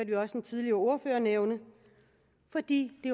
vi også en tidligere ordfører nævne fordi det